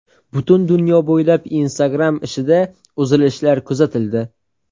Butun dunyo bo‘ylab Instagram ishida uzilishlar kuzatildi.